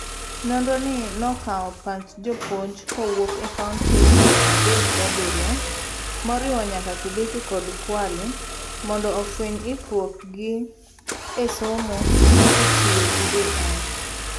Nonro ni nokawo pach jopuonj kowuok e kaonti piero adek gabiriyo. moriwo nyaka Kilifi kod Kwale mondo fueny ikruok gi esomo kitiyo gi AI